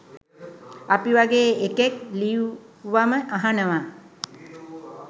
අපි වගේ එකෙක් ලියුවම අහනවා